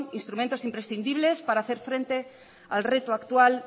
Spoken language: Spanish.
instrumentos imprescindibles para hacer frente al reto actual